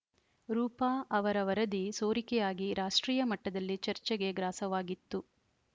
ರೂಪಾ ಅವರ ವರದಿ ಸೋರಿಕೆಯಾಗಿ ರಾಷ್ಟ್ರೀಯ ಮಟ್ಟದಲ್ಲಿ ಚರ್ಚೆಗೆ ಗ್ರಾಸವಾಗಿತ್ತು